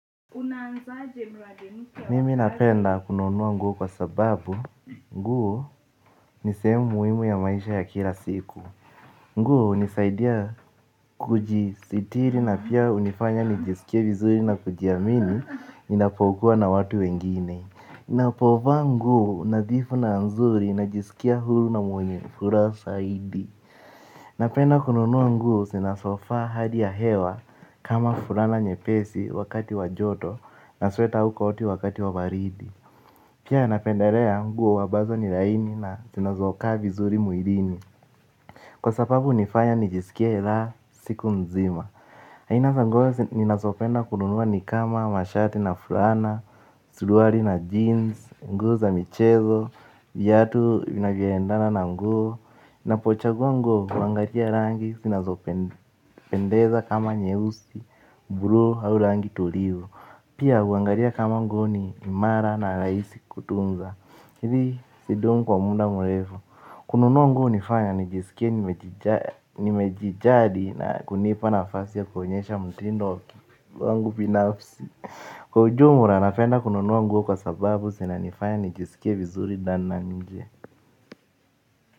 Mimi napenda kununua nguo kwa sababu nguo ni sehemu muhimu ya maisha ya kila siku. Nguo hunisaidia kujisitiri na pia hunifanya nijisikie vizuri na kujiamini. Ninapokuwa na watu wengine ninapofaa nguo unadhifu na nzuri ninajisikia huru na mwenye furaha zaidi napenda kununua nguo zinazofaa hali ya hewa kama mfulano nyepesi wakati wa joto. Na sweta au koti wakati wa baridi. Pia napenderea nguo ambazo ni laini na zinazokaa vizuri mwilini. Kwa sababu hunifanya nijisikie raha siku mzima aina za nguo nina zopenda kununua ni kama mashati na fulana. Suruali na jeans, nguo za michezo, viatu vinavyoendana na nguo. Na pochagua nguo huangalia rangi, zinazopendeza kama nyeusi, blue au rangi tulivu. Pia huangalia kama nguo ni imara na rahisi kutunza. Hizi hudumu kwa muda mrefu. Kununua nguo hunifanya nijisikie nimejijali na kunipa na nafasi ya kuonyesha mtindo wangu binafsi. Kwa ujumla napenda kununua nguo kwa sababu sina nifanya nijisikie vizuri sana nje.